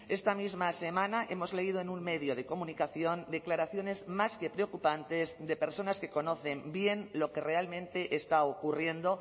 esta misma semana hemos leído en un medio de comunicación declaraciones más que preocupantes de personas que conocen bien lo que realmente está ocurriendo